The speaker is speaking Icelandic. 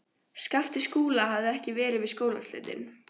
Skapti Skúla hafði ekki verið við skólaslitin.